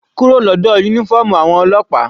Kúrò lọ́dọ̀ uniform àwọn ọlọ́pàá.